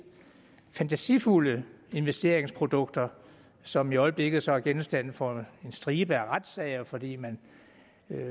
fantasifulde investeringsprodukter som i øjeblikket så er genstand for en stribe af retssager fordi man